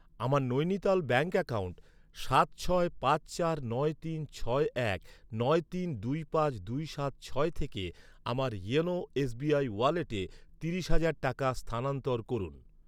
আমার Nainital bank account সাত ছয় পাঁচ চার নয় তিন ছয় এক নয় তিন দুই পাঁচ দুই সাত ছয় থেকে আমার ইওনো এসবিআই ওয়ালেটে তিরিশ হাজার টাকা স্থানান্তর করুন।